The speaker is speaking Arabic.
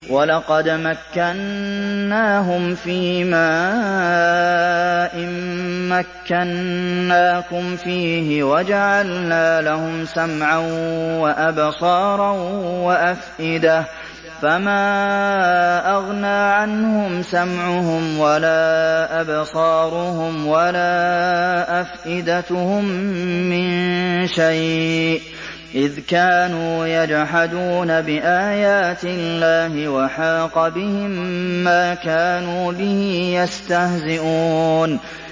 وَلَقَدْ مَكَّنَّاهُمْ فِيمَا إِن مَّكَّنَّاكُمْ فِيهِ وَجَعَلْنَا لَهُمْ سَمْعًا وَأَبْصَارًا وَأَفْئِدَةً فَمَا أَغْنَىٰ عَنْهُمْ سَمْعُهُمْ وَلَا أَبْصَارُهُمْ وَلَا أَفْئِدَتُهُم مِّن شَيْءٍ إِذْ كَانُوا يَجْحَدُونَ بِآيَاتِ اللَّهِ وَحَاقَ بِهِم مَّا كَانُوا بِهِ يَسْتَهْزِئُونَ